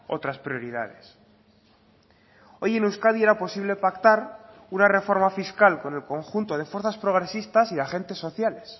otras prioridades hoy en euskadi era posible pactar una reforma fiscal con el conjunto de fuerzas progresistas y agentes sociales